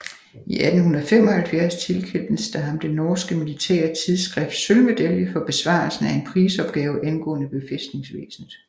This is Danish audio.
I 1875 tilkendtes der ham det norske militære tidsskrifts sølvmedalje for besvarelsen af en prisopgave angående befæstningsvæsenet